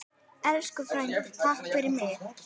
Elsku frændi, takk fyrir mig.